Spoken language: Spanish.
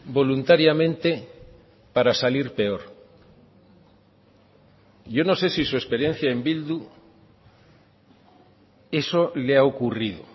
voluntariamente para salir peor yo no sé si su experiencia en bildu eso le ha ocurrido